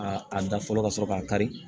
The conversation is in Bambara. A a da fɔlɔ ka sɔrɔ k'a kari